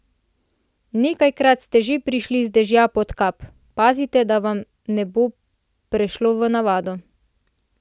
Nekajkrat ste že prišli z dežja pod kap, pazite, da vam ne bo prešlo v navado.